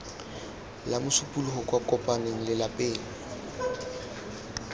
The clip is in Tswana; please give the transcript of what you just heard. la mosupologo kwa kopmane lelapeng